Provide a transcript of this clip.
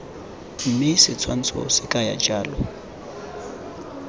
mme setshwantsho se kaya jalo